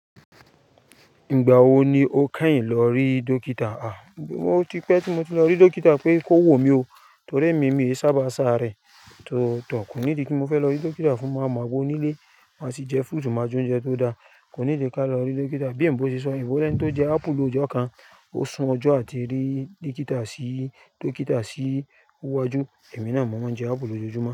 Ìgbà wo ni o kẹ́yìn lọ rí dókítà? À, mo ti pẹ́ tí mo ti lọ rí dókítà pé kò wò mí o torí èmi mi sábà ń sáré. Tọ̀ kò ní ìdí kí mo fẹ́ lọ rí dókítà fún màá m'agbó nílé má sí jẹ fruit máa jẹ oúnjẹ tó dáa. Kò ní ìdí ká lọ rí dókítà. Bí oyinbo ṣe sọ, oyinbo lẹ̀ tí ó jẹ aapu lójo kan ó sun ọjọ́ àti rí dókítà sí wájú. Èmi náà mo máa ń jẹ aapu lójoojúmọ́